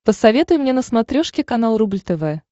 посоветуй мне на смотрешке канал рубль тв